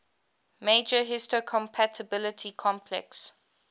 major histocompatibility complex